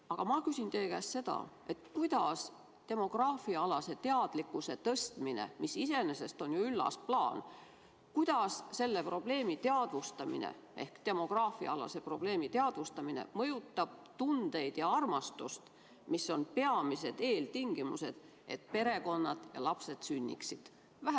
Aga ma küsin teie käest seda, kuidas demograafiaalase teadlikkuse tõstmine, mis iseenesest on ju üllas plaan, selle probleemi teadvustamine mõjutab tundeid ja armastust, mis on peamised eeltingimused, et tekiksid perekonnad ja lapsed sünniksid?